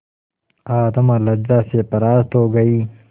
आत्मा लज्जा से परास्त हो गयी